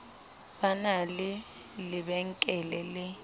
ba na le lebenkele le